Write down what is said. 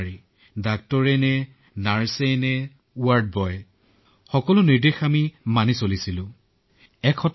কিন্তু এনে এক বৃহৎ সংকটত আপোনাৰ পৰিয়ালৰ সৈতে ষোল্ল বছৰীয়া শিশুটোও আক্ৰান্ত হবলগীয়া হল